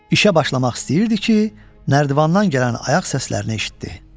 İşə başlamaq istəyirdi ki, nərdivandan gələn ayaq səslərini eşitdi.